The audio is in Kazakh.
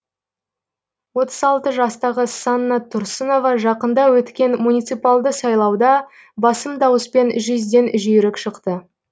отыз алты жастағы санна тұрсынова жақында өткен муниципалды сайлауда басым дауыспен жүзден жүйрік шықты